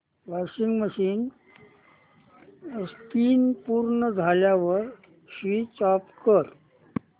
washing machine spin पूर्ण झाल्यावर switch off कर